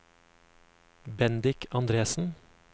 Bendik Andresen